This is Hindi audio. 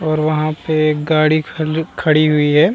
और वहाँ पे एक गाड़ी खड़ खड़ी हुई है |